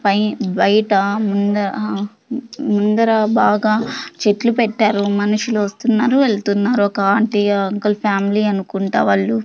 పై బయట ముంద ఆ ముందర బాగా చెట్లు పెట్టారు మనుషులు వస్తున్నారు వెళ్తున్నారు ఒక ఆంటి అంకుల్ ఫ్యామిలీ అనుకుంటా వాళ్ళు.